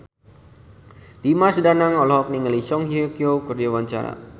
Dimas Danang olohok ningali Song Hye Kyo keur diwawancara